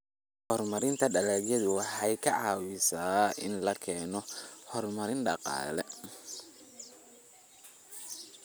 Horumarinta dalagyadu waxa ay ka caawisaa in la keeno horumar dhaqaale.